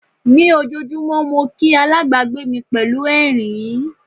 Ní ojoojúmọ́ mo kí alábàgbé mi pẹ̀lú ẹ̀rín.